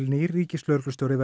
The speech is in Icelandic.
nýr ríkislögreglustjóri